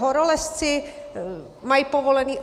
Horolezci mají povolený...